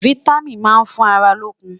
fìtámín má n fún àrà lókùn